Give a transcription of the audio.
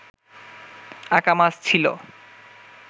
Akamas ছিল